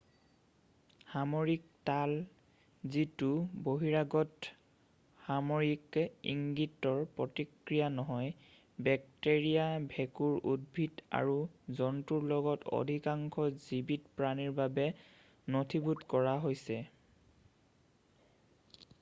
সাময়িক তাল যিটো বহিৰাগত সাময়িক ইংগিতৰ প্ৰতিক্ৰিয়া নহয় বেক্টেৰিয়া ভেঁকুৰ উদ্ভিদ আৰু জন্তুৰ লগতে অধিকাংশ জীৱিত প্ৰাণীৰ বাবে নথিভূত কৰা হৈছে